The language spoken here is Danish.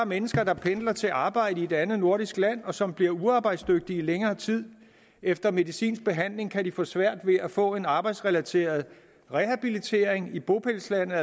mennesker der pendler til arbejde i et andet nordisk land og som bliver uarbejdsdygtige i længere tid efter medicinsk behandling kan de få svært ved at få en arbejdsrelateret rehabilitering i bopælslandet